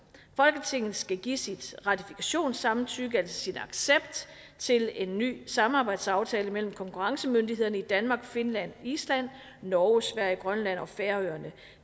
skal folketinget give sit ratifikationssamtykke altså sin accept til en ny samarbejdsaftale mellem konkurrencemyndighederne i danmark finland island norge sverige grønland og færøerne